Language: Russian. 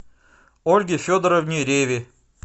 ольге федоровне реве